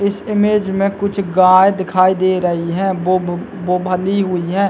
इस इमेज मे कुछ गाय दिखाई दे रही है वो वो बंधी हुई है।